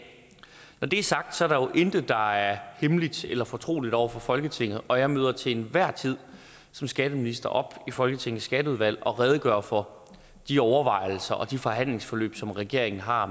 når det er sagt er der jo intet der er hemmeligt eller fortroligt over for folketinget og jeg møder til enhver tid som skatteminister op i folketingets skatteudvalg og redegør for de overvejelser og de forhandlingsforløb som regeringen har